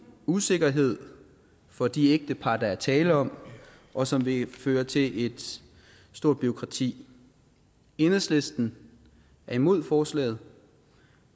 usikkerhed for de ægtepar der er tale om og som vil føre til et stort bureaukrati enhedslisten er imod forslaget